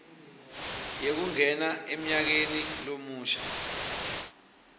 yekungena emnyakeni lomusha